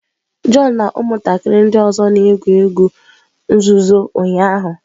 John na ụmụntakịrị ndị ọzọ na-egwu egwu nzuzo ụnyahụ.